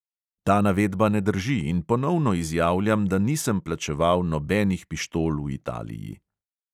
Ta navedba ne drži in ponovno izjavljam, da nisem plačeval nobenih pištol v italiji.